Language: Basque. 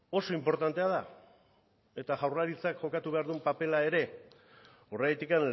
oso inportantea da eta jaurlaritzak jokatu behar duen papera ere horregatik